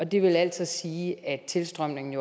det vil altså sige at tilstrømningen